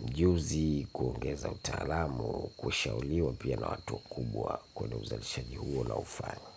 mjuzi, kuongeza utaalamu, kushauriwa pia na watu wakubwa kwenye uzalishaji huo naufanya.